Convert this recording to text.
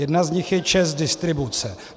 Jedna z nich je ČEZ Distribuce.